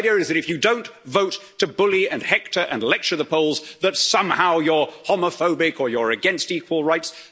The idea is that if you don't vote to bully and hector and lecture the Poles, that somehow you're homophobic or you're against equal rights.